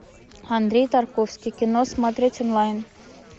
андрей тарковский кино смотреть онлайн